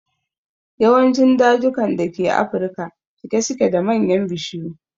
Yawancin dajukan da ke afirka cike suke da manyan bishiyu.